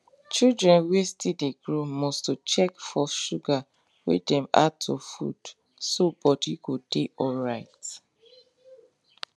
children wen still de grow must to check for sugar wey dem add to food so body go de alright